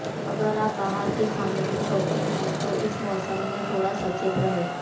अगर आप बाहर के खाने के शौकीन है तो इस मौसम में थोड़ा सचेत रहे